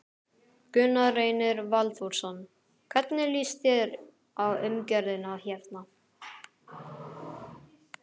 Gunnar Reynir Valþórsson: Hvernig líst þér á umgjörðina hérna?